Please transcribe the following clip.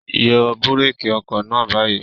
Yọ búrékì ọkọ̀ náà báyìí!